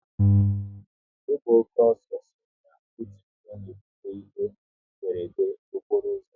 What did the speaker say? Ịgba oke ọsọ so n'otu ihe na-ebute ihe mberede okporo ụzọ